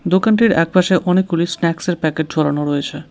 দোকানটির একপাশে অনেকগুলি স্ন্যাক্সের প্যাকেট ঝোলানো রয়েছে।